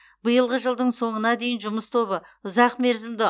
биылғы жылдың соңына дейін жұмыс тобы ұзақмерзімді